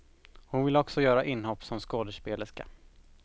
Hon vill också göra inhopp som skådespelerska.